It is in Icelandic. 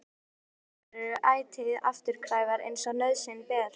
Slíkar tengingar eru ætíð afturkræfar eins og nauðsyn ber til.